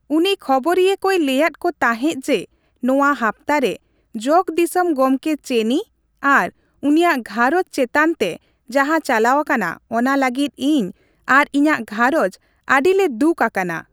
ᱩᱱᱤ ᱠᱷᱚᱵᱚᱨᱤᱭᱟᱹ ᱠᱚᱭ ᱞᱟᱹᱭᱟᱫ ᱠᱚ ᱛᱟᱦᱮᱸᱫ ᱡᱮ, ᱱᱚᱣᱟ ᱦᱟᱯᱛᱟ ᱨᱮ ᱡᱚᱜᱽᱼᱫᱤᱥᱚᱢ ᱜᱚᱢᱠᱮ ᱪᱮᱱᱤ ᱟᱨ ᱩᱱᱤᱭᱟᱜ ᱜᱷᱟᱨᱚᱸᱡᱽ ᱪᱮᱛᱟᱱ ᱛᱮ ᱡᱟᱦᱟᱸ ᱪᱟᱞᱟᱣ ᱟᱠᱟᱱᱟ, ᱚᱱᱟ ᱞᱟᱹᱜᱤᱫ ᱤᱧ ᱟᱨ ᱤᱧᱟᱹᱜ ᱜᱷᱟᱨᱚᱸᱡᱽ ᱟᱹᱰᱤ ᱞᱮ ᱫᱩᱠ ᱟᱠᱟᱱᱟ ᱾